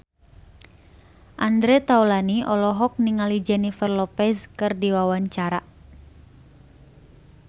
Andre Taulany olohok ningali Jennifer Lopez keur diwawancara